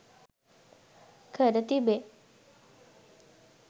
කර තිබේ.